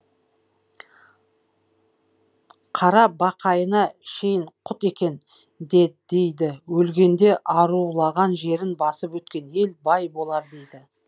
қара бақайына шейін құт екен дейді өлгенде арулаған жерін басып өткен ел бай болар дейді